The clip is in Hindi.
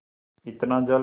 इतना जल